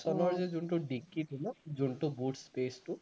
নেক্সনৰ যে যোনটো dickey টো ন যোনটো boot space টো